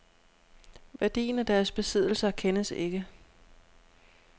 Værdien af deres besiddelser kendes ikke.